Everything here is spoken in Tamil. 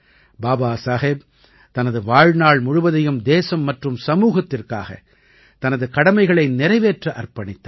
பாபா சாஹேப் தனது வாழ்நாள் முழுவதையும் தேசம் மற்றும் சமூகத்திற்காக தனது கடமைகளை நிறைவேற்ற அர்ப்பணித்தார்